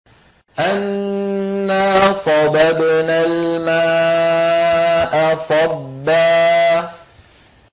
أَنَّا صَبَبْنَا الْمَاءَ صَبًّا